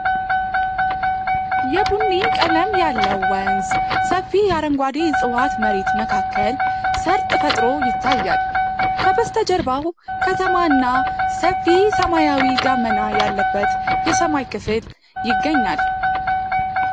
የቡኒ ቀለም ያለው ወንዝ ሰፊ የአረንጓዴ ዕፅዋት መሬት መካከል ሰርጥ ፈጥሮ ይታያል። ከበስተጀርባው ከተማ እና ሰፊ ሰማያዊ ደመና ያለበት የሰማይ ክፍል ይገኛል።